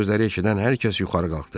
Bu sözləri eşidən hər kəs yuxarı qalxdı.